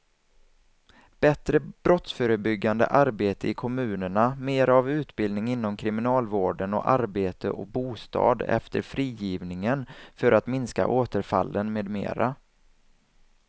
Bättre brottsförebyggande arbete i kommunerna, mera av utbildning inom kriminalvården och arbete och bostad efter frigivningen för att minska återfallen med mera.